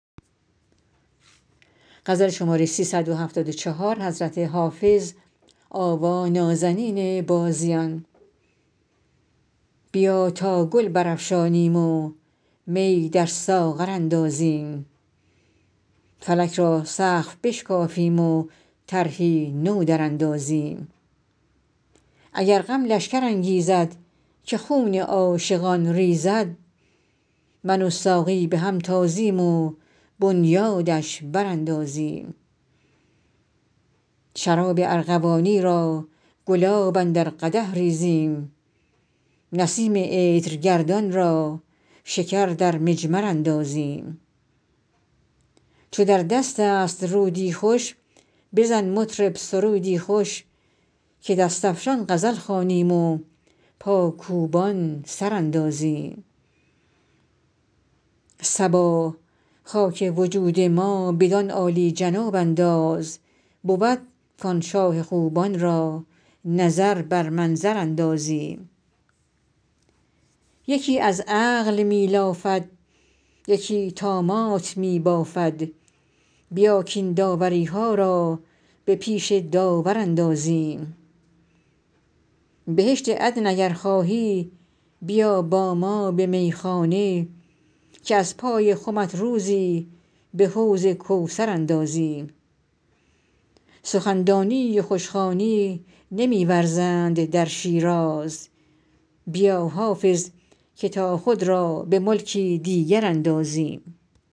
بیا تا گل برافشانیم و می در ساغر اندازیم فلک را سقف بشکافیم و طرحی نو دراندازیم اگر غم لشکر انگیزد که خون عاشقان ریزد من و ساقی به هم تازیم و بنیادش براندازیم شراب ارغوانی را گلاب اندر قدح ریزیم نسیم عطرگردان را شکر در مجمر اندازیم چو در دست است رودی خوش بزن مطرب سرودی خوش که دست افشان غزل خوانیم و پاکوبان سر اندازیم صبا خاک وجود ما بدان عالی جناب انداز بود کآن شاه خوبان را نظر بر منظر اندازیم یکی از عقل می لافد یکی طامات می بافد بیا کاین داوری ها را به پیش داور اندازیم بهشت عدن اگر خواهی بیا با ما به میخانه که از پای خمت روزی به حوض کوثر اندازیم سخن دانی و خوش خوانی نمی ورزند در شیراز بیا حافظ که تا خود را به ملکی دیگر اندازیم